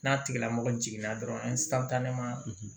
N'a tigilamɔgɔ jiginna dɔrɔn an ye